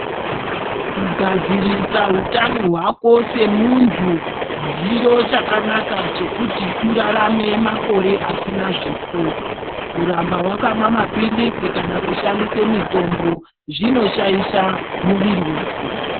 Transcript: Kugadzirisa utano hwako semuntu zviro chakanaka chekuti urarame makore asina zvifo kuramba wakamwe mapilisi kana kushandise mutombo zvinoshaisha muviri wako.